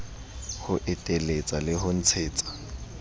ho eteletsa le ho ntshetsa